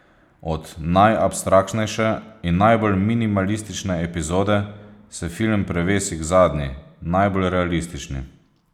Od najabstraktnejše in najbolj minimalistične epizode se film prevesi k zadnji, najbolj realistični.